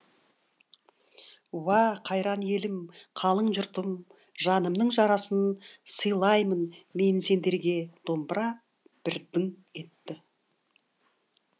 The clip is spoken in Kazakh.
уа қайран елім қалың жұртым жанымның жарасын сыйлаймын мен сендерге домбыра бір дың етті